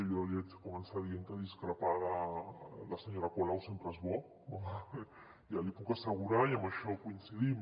jo haig de començar dient que discrepar de la senyora colau sempre és bo ja l’hi puc asse·gurar i en això coincidim